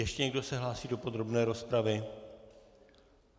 Ještě někdo se hlásí do podrobné rozpravy?